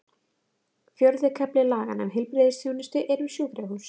Fjórði kafli laganna um heilbrigðisþjónustu er um sjúkrahús.